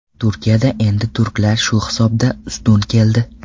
Turkiyada endi turklar shu hisobda ustun keldi.